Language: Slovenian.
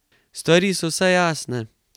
Stvari so vsaj jasne.